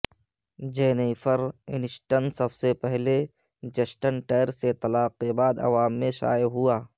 Jennifer Aniston سب سے پہلے جسٹن ٹیر سے طلاق کے بعد عوام میں شائع ہوا